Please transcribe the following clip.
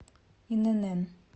инн